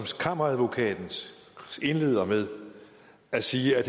kammeradvokaten indleder med at sige er